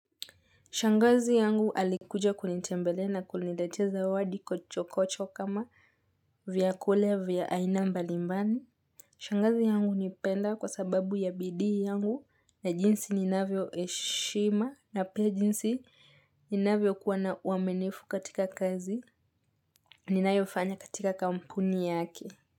Shangazi yangu alikuja kunitembelea na kuniletea zawadi kochokocho kama vyakula vya aina mbalimbali. Shangazi yangu hunipenda kwa sababu ya bidii yangu na jinsi ninavyoheshima na pia jinsi ninavyokuwa na uaminifu katika kazi ninayofanya katika kampuni yake.